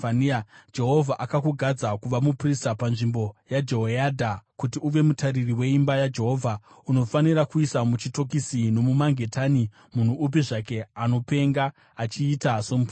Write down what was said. ‘Jehovha akakugadza kuva muprista panzvimbo yaJehoyadha kuti uve mutariri weimba yaJehovha; unofanira kuisa muchitokisi nomumangetani munhu upi zvake anopenga achiita somuprofita.